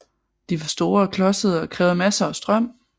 De var store og klodsede og krævede masser af strøm